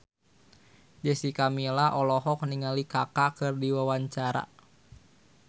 Jessica Milla olohok ningali Kaka keur diwawancara